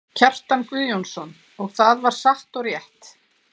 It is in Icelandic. Kjartan Guðjónsson, og það var satt og rétt.